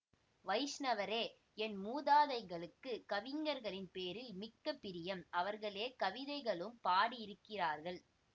வைஷ்ணவரே என் மூதாதைகளுக்குக் கவிஞர்களின் பேரில் மிக்க பிரியம் அவர்களே கவிதைகளும் பாடியிருக்கிறார்கள்